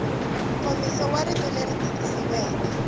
nkomiso wa rito leri tikisiweke